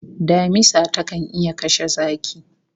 Damisa takan iya kashe zaki